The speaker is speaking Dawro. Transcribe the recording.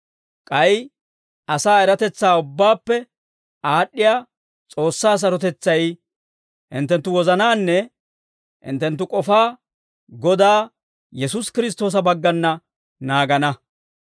K'ay asaa eratetsaa ubbaappe aad'd'iyaa S'oossaa sarotetsay hinttenttu wozanaanne hinttenttu k'ofaa Godaa Yesuusi Kiristtoosa baggana naagana.